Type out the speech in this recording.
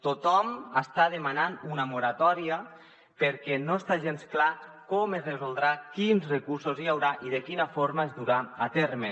tothom n’està demanant una moratòria perquè no està gens clar com es resoldrà quins recursos hi haurà i de quina forma es durà a terme